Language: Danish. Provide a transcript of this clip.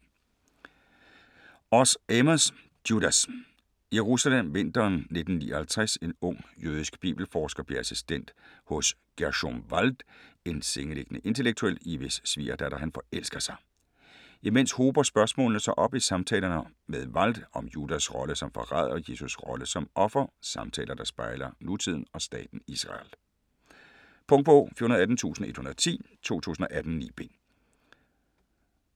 Oz, Amos: Judas Jerusalem, vinteren 1959. En ung jødisk bibelforsker bliver assistent hos Gerschom Wald, en sengeliggende intellektuel, i hvis svigerdatter han forelsker sig. Imens hober spørgsmålene sig op i samtalerne med Wald, om Judas rolle som forræder og Jesus rolle som offer. Samtaler der spejler nutiden og staten Israel. Punktbog 418110 2018. 9 bind.